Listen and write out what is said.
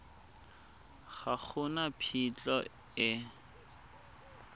ga go na phitlho e